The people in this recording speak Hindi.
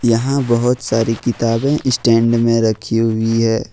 यहां बहुत सारी किताबें स्टैंड में रखी हुई है ।